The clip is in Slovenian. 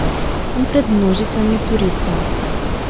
In pred množicami turistov.